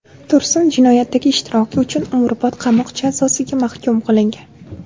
Tursun jinoyatdagi ishtiroki uchun umrbod qamoq jazosiga mahkum qilingan.